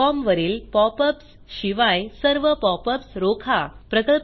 Yahoo com वरील pop ups शिवाय सर्व पॉप अप्स रोखा